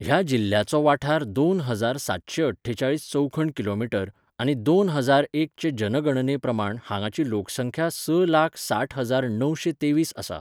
ह्या जिल्ह्याचो वाठार दोन हजार सातशे अठ्ठेचाळीस चौखण किलोमिटर आनी दोन हजार एक चे जनगणने प्रमाण हांगाची लोकसंख्या स लाख साठ हजार णवशे तेवीस आसा.